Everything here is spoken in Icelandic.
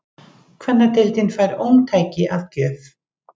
Kvennadeildin fær ómtæki að gjöf